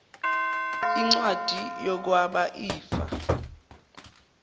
incwadi yokwaba ifa